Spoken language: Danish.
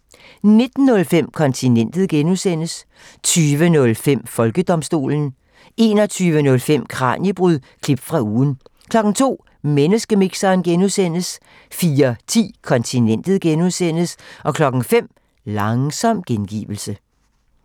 19:05: Kontinentet (G) 20:05: Folkedomstolen 21:05: Kraniebrud – klip fra ugen 02:00: Menneskemixeren (G) 04:10: Kontinentet (G) 05:00: Langsom gengivelse